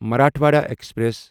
Marathwada express